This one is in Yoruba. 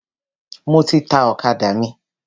Mo ti ta ọ̀kadà mi.